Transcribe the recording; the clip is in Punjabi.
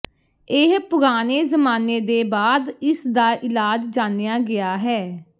ਇਹ ਪੁਰਾਣੇ ਜ਼ਮਾਨੇ ਦੇ ਬਾਅਦ ਇਸ ਦਾ ਇਲਾਜ ਜਾਣਿਆ ਗਿਆ ਹੈ